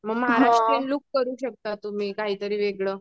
Maharashtrian look करू शकता तुम्ही काही तरी वेगळं